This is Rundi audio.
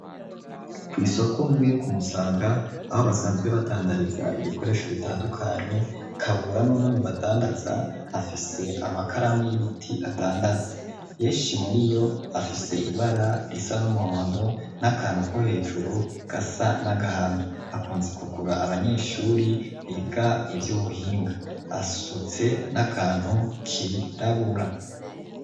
Kw'isokunku yo kumusanga aho basanzwe badandariza ibikoresho ritandukanye kabura n'umwe mu badandaza afise amakaramu y'ibiti adandaze yeshi muri yo afise ibara risa n'umuhondo n'akantu ko hejuru gasa n'agahamba akunze kugura abanyeshuri be iga ivyo ubuhinga asutse n'akantu kirabura.